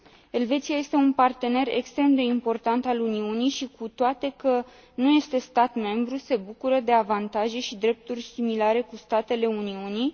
Elveția este un partener extrem de important al Uniunii și, cu toate că nu este stat membru, se bucură de avantaje și drepturi similare cu cele ale statelor Uniunii.